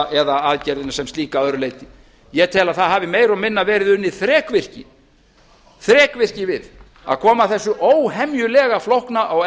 eða aðgerðina sem slíka að öðru leyti ég tel að það hafi meira og minna verið unnið þrekvirki við að koma þessu óhemjulega flókna og